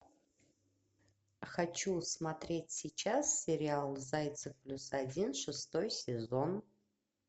хочу смотреть сейчас сериал зайцев плюс один шестой сезон